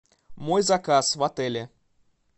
мой заказ в отеле